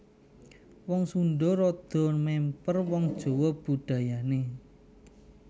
Wong Sundha rada mèmper wong Jawa budayané